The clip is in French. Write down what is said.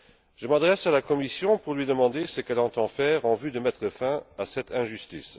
Je m'adresse à la Commission pour lui demander ce qu'elle entend faire en vue de mettre fin à cette injustice.